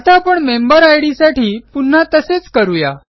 आता आपण मेंबेरिड साठी पुन्हा तसेच करू या